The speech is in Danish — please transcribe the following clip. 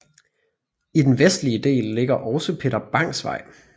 I den vestlige del ligger også Peter Bangs Vej